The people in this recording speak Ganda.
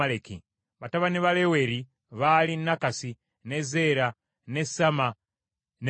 Batabani ba Leweri baali Nakasi, ne Zeera, ne Samma ne Mizza.